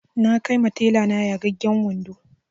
Na kai ma tela na yagagen wando